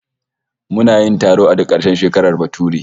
Muna yin taro a duk karshen shekarar bature